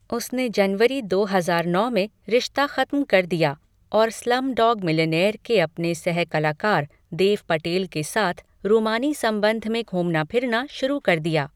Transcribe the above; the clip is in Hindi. उसने जनवरी दो हजार नौ में रिश्ता खत्म कर दिया और स्लमडॉग मिलिनेयर के अपने सह कलाकार देव पटेल के साथ रूमानी संबंध में घूमना फिरना शुरू कर दिया।